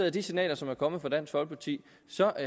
af de signaler som er kommet fra dansk folkeparti